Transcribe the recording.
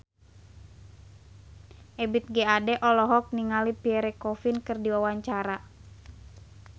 Ebith G. Ade olohok ningali Pierre Coffin keur diwawancara